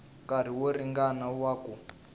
nkarhi wo ringana wa ku